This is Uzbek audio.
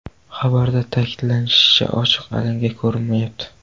Xabarda ta’kidlanishicha, ochiq alanga ko‘rinmayapti.